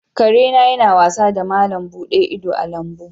Kare na yana wasa da malam buɗe ido a lambu.